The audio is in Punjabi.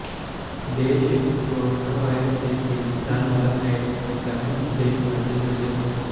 ਦੇਸ਼ ਵਿਚ ਕੋਰੋਨਾਵਾਇਰਸ ਦੇ ਤੇਜ਼ੀ ਨਾਲ ਵੱਧ ਰਹੇ ਸੰਕਰਮਣ ਦੇ ਮੱਦੇਨਜ਼ਰ